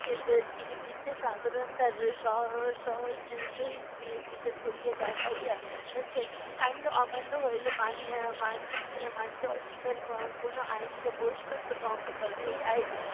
তিনি বিশেষ সাধারণতার স~ সহ~ সহিত বি~ বিচার করিয়া দেখাইয়াছেন। আইন অমান্য হইলে মানিয়া ~আহ মানিতে আহ মানিতে অস্বীকার কোনো আইনকে বস্তুত ভঙ্গ করে। এই আইন